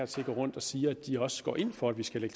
til at går rundt og siger at de også går ind for at vi skal